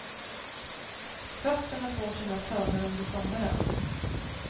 Fötterna får sina törnar under sommaren.